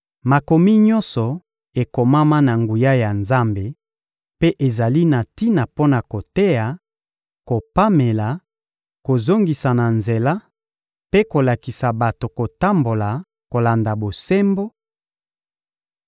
Makomi nyonso ekomama na nguya ya Nzambe mpe ezali na tina mpo na koteya, kopamela, kozongisa na nzela mpe kolakisa bato kotambola kolanda bosembo,